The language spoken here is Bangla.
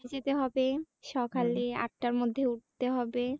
সকালে আটার মধ্যে উঠতে হবে